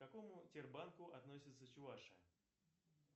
к какому тер банку относится чувашия